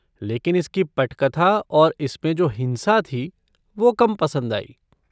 लेकिन इसकी पटकथा और इसमें जो हिंसा थी वो कम पसंद आई।